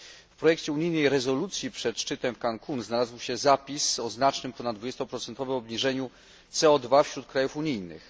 W projekcie unijnej rezolucji, przed szczytem w Cancún, znalazł się zapis o znacznym, ponad dwudziestoprocentowym, obniżeniu CO wśród krajów unijnych.